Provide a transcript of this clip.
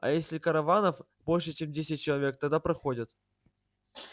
а если караванов больше чем десять человек тогда проходят